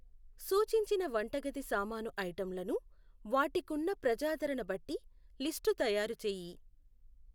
సూచించిన వంటగది సామాను ఐటంలను వాటికున్న ప్రజాదరణ బట్టి లిస్టు తయారు చేయి.